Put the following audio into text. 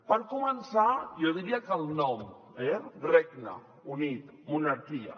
per començar jo diria que el nom eh regne unit monarquia